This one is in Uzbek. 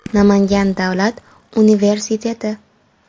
Namangan davlat universiteti.